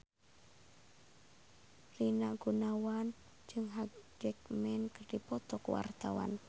Rina Gunawan jeung Hugh Jackman keur dipoto ku wartawan